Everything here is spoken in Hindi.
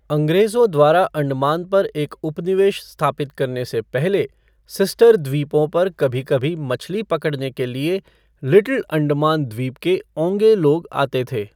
अंग्रेजों द्वारा अंडमान पर एक उपनिवेश स्थापित करने से पहले, सिस्टर द्वीपों पर कभी कभी मछली पकड़ने के लिए लिटिल अंडमान द्वीप के ओन्गे लोग आते थे।